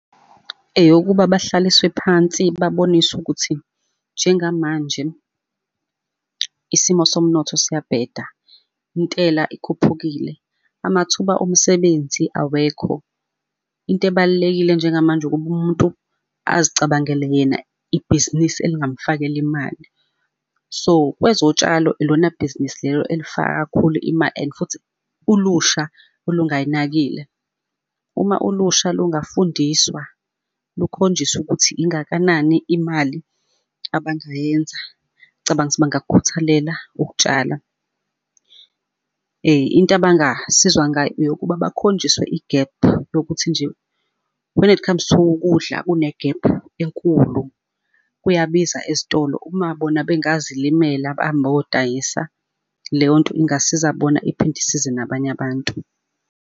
Eyokuba bahlaliswe phansi, baboniswe ukuthi, njengamanje isimo somnotho siyabheda, intela ikhuphukile, amathuba omsebenzi awekho. Into ebalulekile njengamanje ukuba umuntu azicabangele yena ibhizinisi elingamfakela imali. So kwezotshalo ilona bhizinisi lelo elifaka kakhulu imali and futhi ulusha olungayinakile. Uma ulusha lungafundiswa lukhonjiswe ukuthi ingakanani imali abangayenza, ngcabanga ukuthi bangakukhuthalela ukutshala. Into abangasizwa ngayo yokuba bakhonjiswe igephu lokuthi nje, when it comes to ukudla kune kunegephu enkulu, kuyabiza ezitolo uma bona bengazilimela behambe beyodayisa, leyo nto ingasiza bona iphinde isize nabanye abantu.